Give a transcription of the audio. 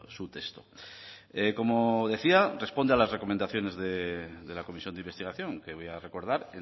su texto como decía responde a las recomendaciones de la comisión de investigación que voy a recordar